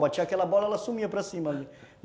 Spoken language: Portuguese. Batia aquela bola, ela sumia para cima ali.